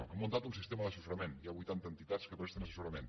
hem muntat un sistema d’assessorament hi ha vuitanta entitats que presten assessorament